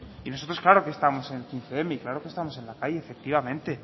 y nosotros claro que estamos en claro que estamos en la calle efectivamente